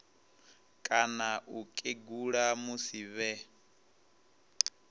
kana u kegula musi vhe